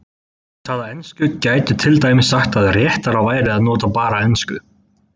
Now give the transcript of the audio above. Þeir sem tala ensku gætu til dæmis sagt að réttara væri að nota bara ensku.